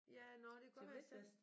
Ja nåh det kan godt være jeg send